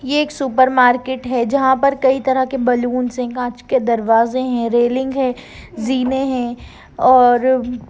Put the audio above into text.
ये एक super market है जहाँ पर कोई तरह के बैलून्स है कांच के दरवाजे है रेलिंग है जीने है और--